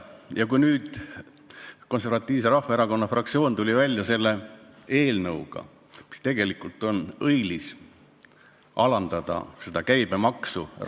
Ja nüüd tuli Konservatiivse Rahvaerakonna fraktsioon välja õilsa sisuga eelnõuga alandada ravimite käibemaksu.